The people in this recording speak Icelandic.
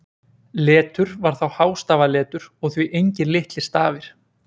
Letur var þá hástafaletur og því engir litlir stafir.